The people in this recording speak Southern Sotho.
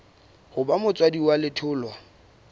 ho ba motswadi wa letholwa